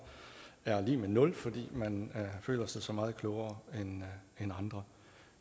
er lig nul fordi man føler sig så meget klogere end andre